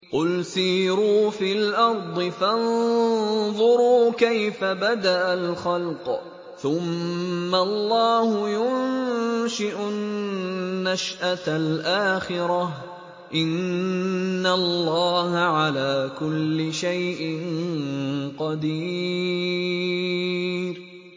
قُلْ سِيرُوا فِي الْأَرْضِ فَانظُرُوا كَيْفَ بَدَأَ الْخَلْقَ ۚ ثُمَّ اللَّهُ يُنشِئُ النَّشْأَةَ الْآخِرَةَ ۚ إِنَّ اللَّهَ عَلَىٰ كُلِّ شَيْءٍ قَدِيرٌ